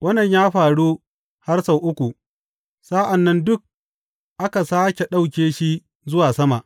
Wannan ya faru har sau uku, sa’an nan duk aka sāke ɗauke shi zuwa sama.